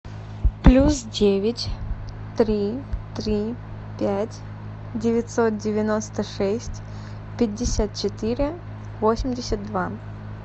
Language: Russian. плюс девять три три пять девятьсот девяносто шесть пятьдесят четыре восемьдесят два